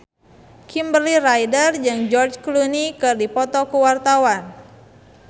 Kimberly Ryder jeung George Clooney keur dipoto ku wartawan